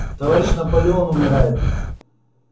товарищ наполеон умирает